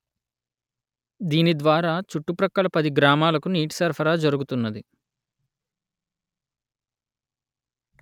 దీని ద్వారా చుట్టు ప్రక్కల పది గ్రామాలకు నీటి సరఫరా జరుగుతున్నది